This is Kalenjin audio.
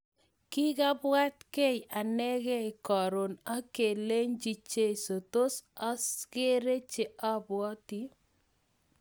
Kikabwatkei anekei korok ak kelechikei, jeiso tos akerei che abwoti.